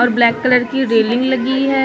Black colour की railing लगी है।